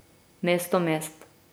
Mesto mest.